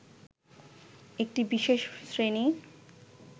একটি বিশেষ শ্রেণী